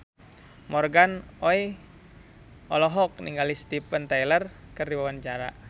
Morgan Oey olohok ningali Steven Tyler keur diwawancara